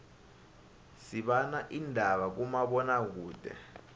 sibana indaba kuma bona kude